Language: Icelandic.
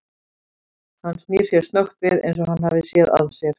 Hann snýr sér snöggt við eins og hann hafi séð að sér.